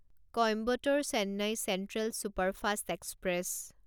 Coimbatore Chennai central superfast express